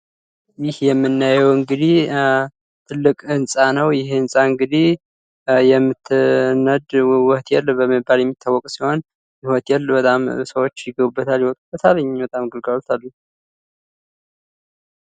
ይህ የምናየው እንግዲህ ትልቅ ህንጻ ነው። ይህ ህንጻ እንግዲህ የምትነድ እሳት በመባል የሚታወቅ ሲሆን ሰዎች ይገቡበታል ይወጡበታል ማለት ነው።